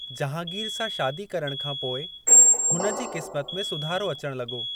जहांगीर सां शादी करण खां पोइ हुन जी क़िस्मत में सुधारो अचणु लॻो।